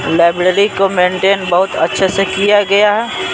Library को maintain बहुत अच्छे से किया गया है।